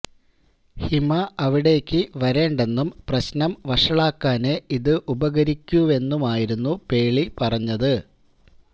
ഹിമ അവിടേക്ക് വരേണ്ടെന്നും പ്രശ്നം വഷളാക്കാനേ ഇത് ഉപകരിക്കൂവെന്നുമായിരുന്നു പേളി പറഞ്ഞത്